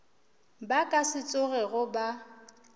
ba ka se tsogego ba